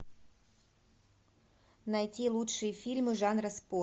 найти лучшие фильмы жанра спорт